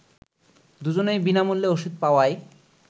দুজনই বিনামূল্যে ওষুধ পাওয়ায়